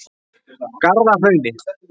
Garðahrauni